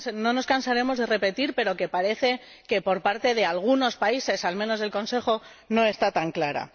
nos cansaremos de repetir, pero que parece que por parte de algunos países, al menos en el Consejo, no está tan clara.